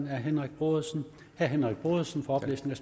herre henrik brodersen herre henrik brodersen for oplæsning